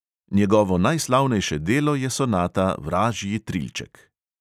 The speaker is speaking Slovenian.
Njegovo najslavnejše delo je sonata vražji trilček.